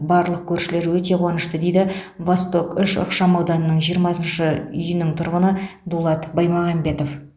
барлық көршілер өте қуанышты дейді восток үш ықшамауданының жиырмасыншы үйінің тұрғыны дулат баймағамбетов